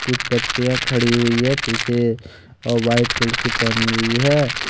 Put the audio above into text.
कुछ बच्चियां खड़ी हुई हैं पीछे और वाइट कलर की पहनी हुई है।